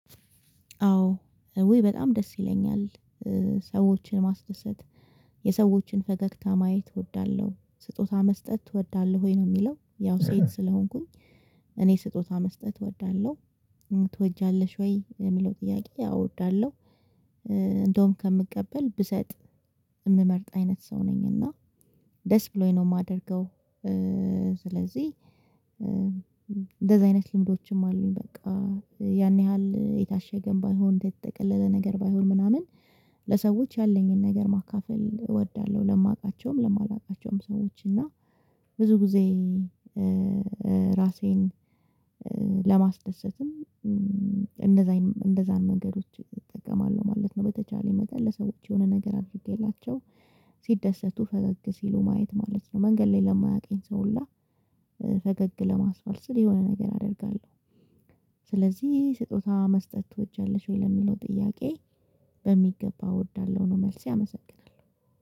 አዎ ወይ በጣም ደስ ይለኛል። ሰዎችን ማስደሰት የሰዎችን ፈገግታ ማየት እወዳለሁ ስጦታ መስጠት እወዳለሁ። ወይ ነው የሚለው ያው ሴት ስለሆንኩኝ እኔ ስጦታ መስጠት እወዳለሁ። ትወጃለሽ ወይ የሚለው ጥያቄ? አዎ እወዳለሁ። እንደውም ከምቀበል ብሰጥ የምመርጥ አይነት ሰው ነኝ እና ደስ ብሎኝ ነው የማደርገው። ስለዚህ እንደዚህ አይነት ልምዶችም አሉኝ። በቃ ያን ያህል የታሸገ ባይሆን የተጠቀለለ ነገር ባይሆን ምናምን ለሰዎች ያለኝን ነገር ማካፈል እወዳለሁ። ለማውቃቸውም ለማላውቃቸውም ሰዎች እና ብዙ ጊዜ ራሴን ለማስደሰትም እንደዝያን እነዚያን መንገዶች እጠቀማለሁ ማለት ነው። በተቻለ መጠን ለሰዎች የሆነ ነገር አድርጌላቸው ሲደሰቱ ፈገግ ሲሉ ማየት ማለት ነው። መንገድ ላይ ለማያውቀኝ ሰው ሁላ ፈገግ ለማስባል ስል የሆነ ነገር አደርጋለሁ። ስለዚህ ስጦታ መስጠት ትወጃለሽ ወይ ለሚለው ጥያቄ? በሚገባ እወዳለሁ ነው መልሴ። አመሰግናለሁ